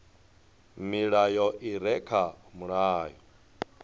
milayo i re kha mulayo